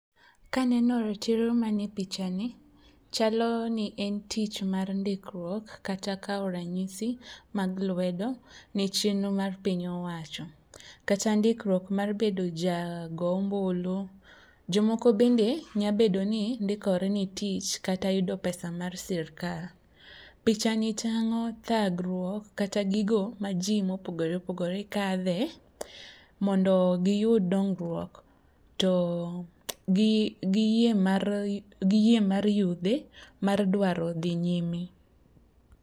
Ka aneno ratiro manie pichani, chalo ni en tich mar ndikruok kata kawo ranyisi mag lwedo ne chenro mar piny owacho, kata ndikruok mar bedo jago ombulu. Jomoko bende nya bedo ni ndikore ne tich kata yudo pesa mar sirkal. Pichani tang'o thagruok kata gigo ma ji mopogoreopogore kadhe mondo giyud dongruok ,to gi yie mar yudhe mar dwaro dhi nyime.